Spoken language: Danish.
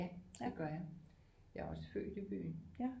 Ja det gør jeg jeg er også født i byen